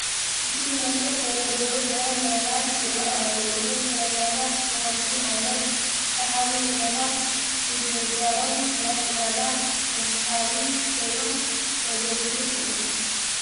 ብፍሉይ መልክዕ ዝተደርደሩ ፍረ ምረታት ይርአዩ ኣለዉ፡፡ እዞም ፍረምረታት ብኸምዚ ዓይነት ሰሓቢ ኩነታት ምድርዳሮም ናይ ዕዳጋ መስሕብ ኮይኖም ከገልግሉ ይኽእሉ ዶ?